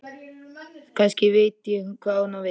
Kannski veit ég hvað hún á við.